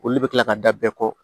Olu bɛ kila ka da bɛɛ kɔ